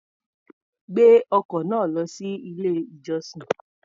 Gbé ọkọ̀ náà lọ sí ilé-ìjọsìn.